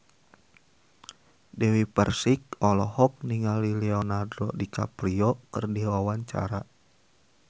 Dewi Persik olohok ningali Leonardo DiCaprio keur diwawancara